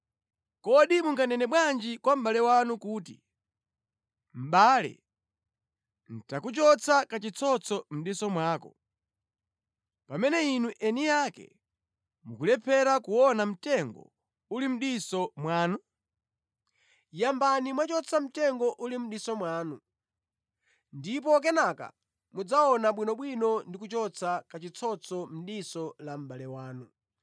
Kodi munganene bwanji kwa mʼbale wanu kuti, ‘Mʼbale nʼtakuchotsa kachitsotso mʼdiso mwako,’ pamene inu eni ake mukulephera kuona mtengo uli mʼdiso mwanu? Inu achiphamaso, yambani mwachotsa mtengo uli mʼdiso mwanu, ndipo kenaka mudzaona bwinobwino ndi kuchotsa kachitsotso mʼdiso la mʼbale wanu.”